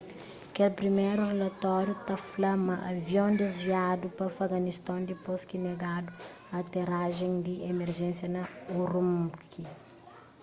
kel priméru rilatóriu ta fla ma avion desviadu pa afeganiston dipôs ki negadu aterajen di emerjensia na ürümqi